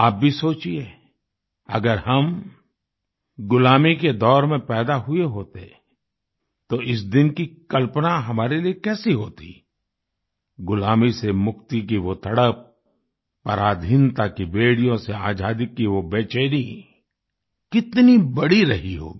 आप भी सोचिए अगर हम गुलामी के दौर में पैदा हुए होते तो इस दिन की कल्पना हमारे लिए कैसी होती गुलामी से मुक्ति की वो तड़प पराधीनता की बेड़ियों से आज़ादी की वो बेचैनी कितनी बड़ी रही होगी